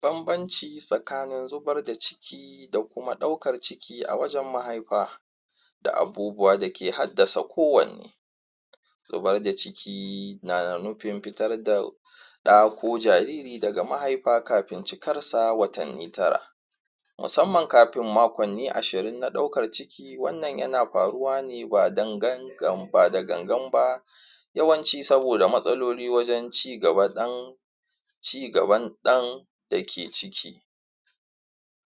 banbanci tsakanin zubar da ciki da kuma ɗaukan ciki a wajan mahaifa da abubuwa dake haddasa ko wanne zubar da ciki na nufin fitar da ɗa ko jariri da ga mahaifa kafin cikarsa watanni tara musamman kafin maƙwanni ashirin na ɗaukar ciki wannan yana faruwa ne ba da ganganba yawanci saboda matsaloli wajan cigaban ɗan dake ciki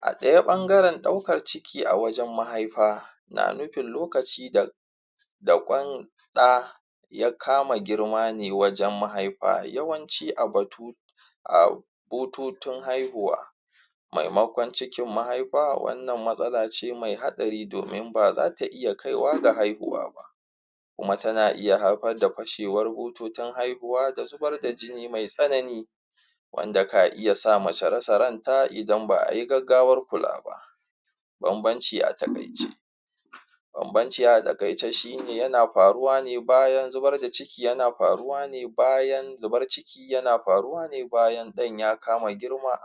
a ɗaya bangaran ɗaukar ciki a wajan mahaifa na nufin lokaci da da ƙwan ɗa ya kama girmane wajan mahaifa yawanci a bututun haihuwa maimaƙon cikin mahifa wannan matsala ce mai haɗari domin baza ta iya kaiwa ga haihuwa ba kuma tana iya haifar da fashewar bututun haihuwa da zubar da jini mai tsanani wanda ka iyasa mace rasa ranta idan ba ayi gaggawar kulaba banbanci a taƙaice banbanci a taƙaice shine yana faruwa ne bayan zubar da ciki yana faruwa ne bayan zubar ciki yana faruwa ne bayan ɗan ya kama girma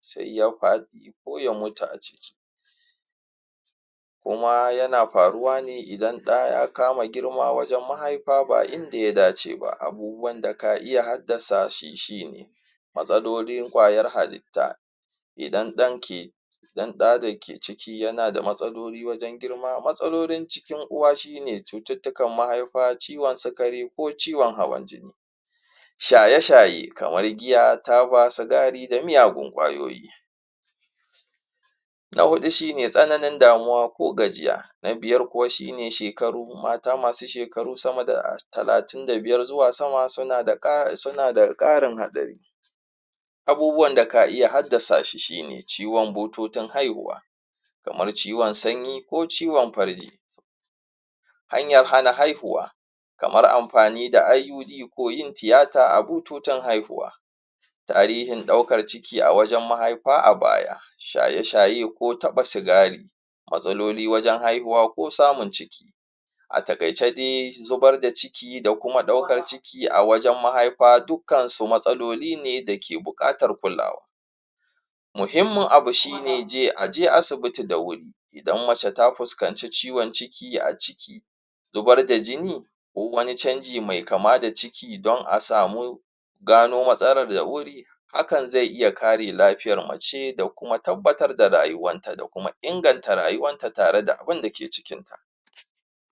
sai ya faɗi ko ya mutu a ciki kuma yana faruwa ne idan ɗa ya kama girma wajan mahaifa ba inda ya dace ba abubuwan da ka iya haddasashi shine matsalolin ƙwayar halitta idan ɗanki idan ɗa dake ciki yana da matsaloli wajan girma matsalolin jikin uwa shine cututtukan mahaifa ciwan sukari ko ciwan hawan jini shaye shaye kamar giya taba sugari da meyagun ƙwayoyi na huɗu shine tsananin damuwa ko gajiya na biyar kuwa shine shekaru mata masu shekaru sama da talatin da biyar zuwa sama suna da ƙarin haɗari abubuwan da ka iya haddasa shi shine bututun haihuwa kamar ciwan sanyi ko ciwan farji hanyar hana haihuwa kamar amfani da IUD ko yin tiyata a bututun haihuwa tarihin ɗaukar ciki a wajan mahaifa a baya shaye shaye ko taɓa sigari matsaloli wajan haihuwa ko samun ciki a taƙaice dai zubar da ciki da kuma ɗaukar ciki a wajan mahaifa dukkansu matsaloli ne dake buƙatar kulawa muhimmin abu shine aje asibiti da wuri idan mace ta fuskance ciwan ciki a ciki zubar da jini duk wani canji me kama da ciki don a samu gano matsalar da wuri hakan zai iya kare lafiyar mace da kuma tabbatar da rayuwanta da kuma inganta rayuwanta tare da abinda ke cikinta